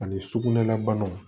Ani sugunɛ la banaw